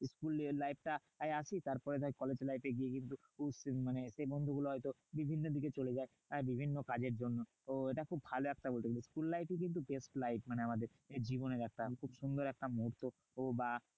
School এর life টায় আসি তারপরে ধর কলেজ life এ গিয়ে কিন্তু মানে সেই বন্ধুগুলো হয়তো বিভিন্ন দিকে চলে যায় বিভিন্ন কাজের জন্য। তো ওটা খুব ভালো একটা school life ই কিন্তু best life. মানে আমাদের জীবনে একটা খুব সুন্দর একটা মুহূর্ত বা